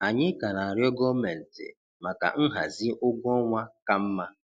Anyị ka na-arịọ Gọọmenti maka nhazi ụgwọ ọnwa ka mma.